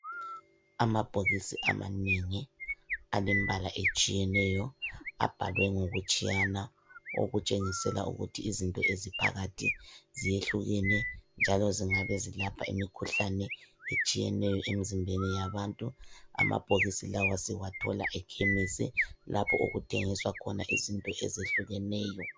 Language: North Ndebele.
Amabhokisi amanengi, alembala etshiyeneyo, abhalwe ngokutshiyana okutshengisela ukuthi izinto eziphakathi ziyehlukene njalo zingabezilapha imikhuhlane etshiyeneyo emizimbeni yabantu, amabhokisi lawa sizathola ekhemesi lapho okuthengiswa khona izinto ezehlukeneyo.